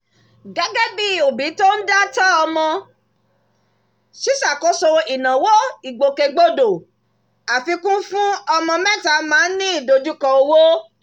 gẹ́gẹ́ bí òbí tó ń dá tọ́ ọmọ ṣíṣàkóso ìnáwó ìgbòkègbodò àfikún fún ọmọ mẹ́ta máa ní ìdojúkọ owó